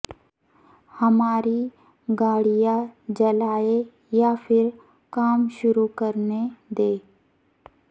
ہماری گاڑیاں جلا ئیں یا پھر کام شروع کرنے دیں